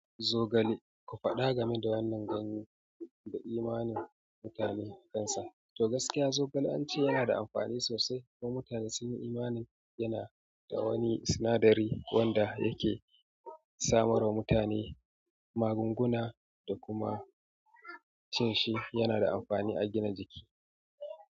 Zogale, ku faɗa game da wannan ganye da imaninsu na mutane. To gaskiya zogale an ce yana da amfani sosai kuma mutane sun yi imanin yana da wani sinadari wanda yake samar wa mutane magunguna da kuma cin shi yana da amfani a gina jiki.